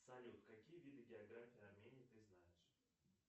салют какие виды географии армении ты знаешь